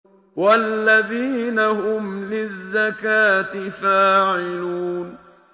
وَالَّذِينَ هُمْ لِلزَّكَاةِ فَاعِلُونَ